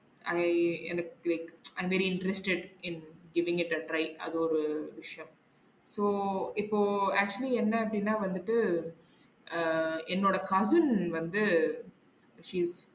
I எனக்கு like i very interested in giving it a try அது ஒரு விஷியம் so இப்போ actually என்ன அப்டின்னா வந்துட்டு அஹ் என்னோட cousin வந்து she